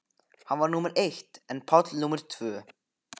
Hann var númer eitt en Páll númer tvö.